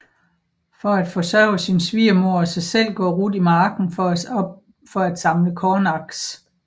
For at forsørge sin svigermor og sig selv går Ruth i marken for at samle kornaks